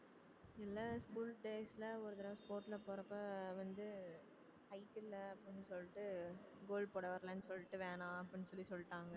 இல்ல school days ல ஒரு தடவை sport ல போறப்ப வந்து height இல்லை அப்படின்னு சொல்லிட்டு goal போட வரலைன்னு சொல்லிட்டு வேணாம் அப்படின்னு சொல்லி சொல்லிட்டாங்க